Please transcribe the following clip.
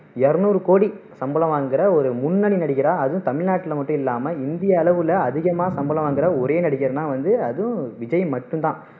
இருநூறு கோடி சம்பளம் வாங்குற ஒரு முன்னணி நடிகரா அதும் தமிழ்நாட்டுல மட்டும் இல்லாம இந்திய அளவுல அதிகமா சம்பளம் வாங்குற ஒரே நடிகர்னா வந்து அதும் விஜய் மட்டும் தான்